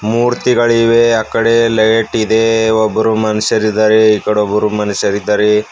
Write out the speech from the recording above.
ಮೂರ್ತಿಗಳಿದಾವೆ ಆ ಕಡೆ ಲೈಟಿದೆ ಒಬ್ರು ಮನುಷ್ಯರಿದಾರೆ ಈ ಕಡೆ ಒಬ್ರು ಮನುಷ್ಯರಿದಾರೆ.